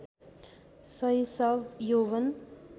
शैशव यौवन